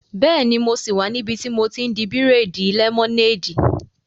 Bẹ́ẹ̀ni, mo sì wà níbi tí mo ti n di bírèèdì lẹ́mọ́néèdì